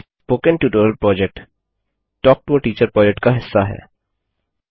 spoken tutorial project talk to a teacher project का हिस्सा है